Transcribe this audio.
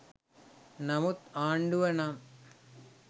නමුත් ආණ්ඩුව නම්